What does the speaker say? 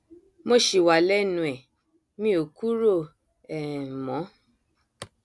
mo ṣì wà lẹnu ẹ mi ò kúrò um mọ